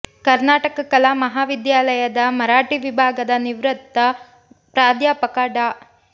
ಕರ್ನಾ ಟಕ ಕಲಾ ಮಹಾವಿದ್ಯಾಲಯದ ಮರಾಠಿ ವಿಭಾಗದ ನಿವೃತ್ತ ಪ್ರಾಧ್ಯಾಪಕ ಡಾ